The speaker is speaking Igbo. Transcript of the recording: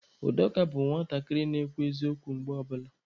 Udoka bụ nwatakịrị na-ekwu eziokwu mgbe ọ bụla.